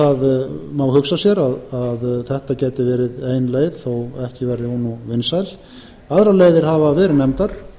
það má hugsa sér að þetta ágæt verið ein leið þó ekki verði hún nú vinsæl aðrar leiðir hafa verið nefndar